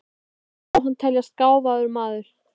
Samt má hann teljast gáfaður maður.